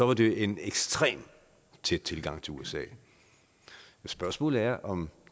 var det en ekstrem tæt tilgang til usa spørgsmålet er om